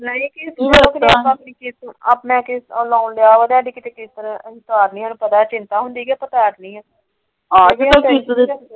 ਕਿਸ਼ਤ ਲੋਨ ਲਿਆ ਹੋਇਆ ਚਿੰਤਾ ਹੁੰਦੀ ਕੇ ਆਪਾ ਤਾਰਨੀ।